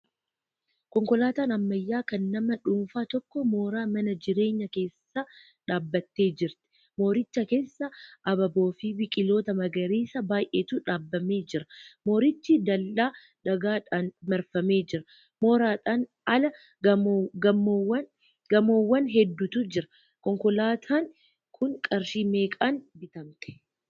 Konkolaataan ammayyaa, kan nama dhuunfaa tokko mooraa mana jireenyaa keessa dhaabbattee jirti. Mooricha keessa abaaboofi biqiloota magariisa baay'eetu dhaabamee jira. Moorichi dallaa dhagaadhaan marfamee jira. Mooraadhaan ala gamoowwan hedduutu jira. Konkolaataan kun qarshii meeqaan bitamte?